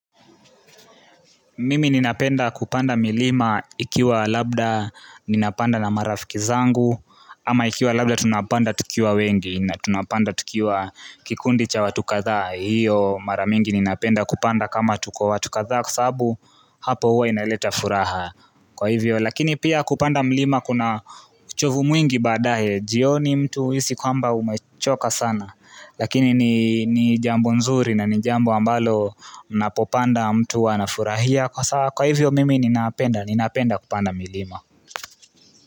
Mimi ninapenda kupanda milima ikiwa labda ninapanda na marafiki zangu Ama ikiwa labda tunapanda tukiwa wengi na tunapanda tukiwa kikundi cha watukatha hiyo mara mingi ninapenda kupanda kama tuko watu akatha kusabu hapo huo inaleta furaha Kwa hivyo lakini pia kupanda milima kuna uchovu mwingi badahe Jio ni mtu isi kwamba umechoka sana Lakini ni jambu nzuri na ni jambu ambalo unapopanda mtu wanafurahia Kwa saa kwa hivyo mimi ninapenda kupanda milima.